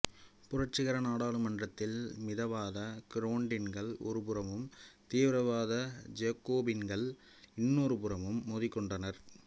புரட்சிகர நாடாளுமன்றத்தில் மிதவாத கிரோண்டின்கள் ஒரு புறமும் தீவிரவாத ஜேக்கோபின்கள் இன்னொரு புறமும் மோதிக் கொண்டனர்